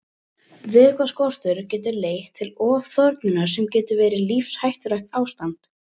Vökvaskortur getur leitt til ofþornunar sem getur verið lífshættulegt ástand.